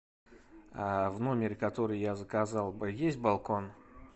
в номере который я заказал есть балкон